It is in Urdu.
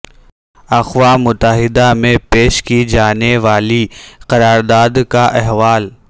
اقوام متحدہ میں پیش کی جانے والی قرارداد کا احوال